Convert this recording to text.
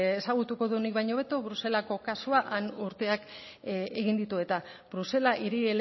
ezagutuko du nik baino hobeto bruselako kasua han urteak egin ditu eta brusela hiri